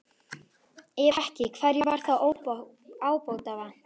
Ef ekki, hverju var þá ábótavant?